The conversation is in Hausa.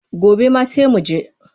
Gobe ma sai mu je.